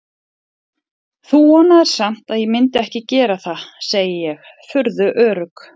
Þú vonaðir samt að ég myndi ekki gera það, segi ég, furðu örugg.